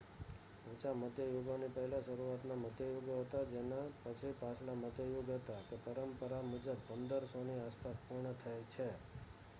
ઊચા મધ્ય યુગોની પહેલા શરૂઆતના મધ્ય યુગો હતા જેના પછી પાછલા મધ્ય યુગ હતા કે પરંપરા મુજબ 1500ની આસપાસ પૂર્ણ થાય છે